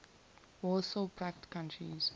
warsaw pact countries